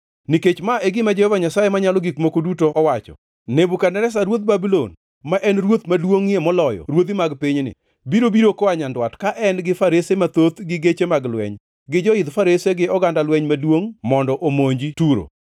“Nikech ma e gima Jehova Nyasaye Manyalo Gik Moko Duto owacho: Nebukadneza ruodh Babulon, ma en ruoth maduongʼie moloyo ruodhi mag pinyni, biro biro koa nyandwat ka en gi farese mathoth gi geche mag lweny, gi joidh farese gi oganda lweny maduongʼ mondo omonj Turo.